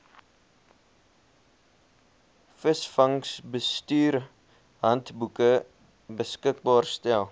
visvangsbestuurshandboeke beskikbaar stel